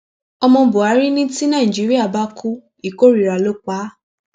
ọmọ buhari ní tí nàìjíríà bá kú ìkórìíra ló pa á